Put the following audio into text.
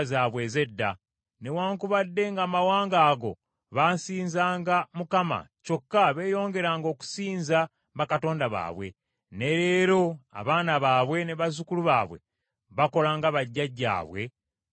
Newaakubadde ng’amawanga ago baasinzanga Mukama , kyokka beeyongeranga okusinza bakatonda baabwe. Ne leero abaana baabwe ne bazzukulu baabwe bakola nga bajjajjaabwe bwe baakolanga.